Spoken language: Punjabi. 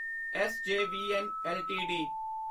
SJVN LTD